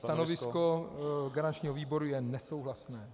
Stanovisko garančního výboru je nesouhlasné.